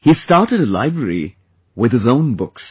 He started a library with his own books